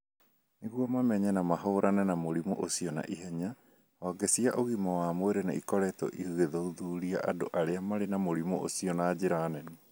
Nĩguo mamenye na mahũrane na mũrimũ ũcio na ihenya, honge cia ũgima wa mwĩrĩ nĩ ikoretwo igĩthuthuria andũ arĩa marĩ na mũrimũ ũcio na njĩra nene.